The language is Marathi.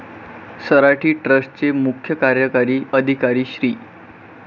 सराठी ट्रस्ट चे मुख्य कार्यकारी अधिकारी श्री.